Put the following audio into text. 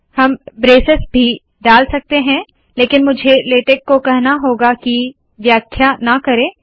हम ब्रेसेस भी डाल सकती हूँ लेकिन मुझे लेटेक को कहना होगा की व्याख्या ना करे